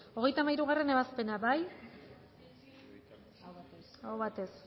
hogeita hamairugarrena ebazpena bozkatu dezakegu bozketaren emaitza onako izan da hirurogeita hamalau eman dugu bozka